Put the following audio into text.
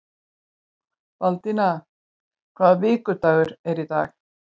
Baldína, hvaða vikudagur er í dag?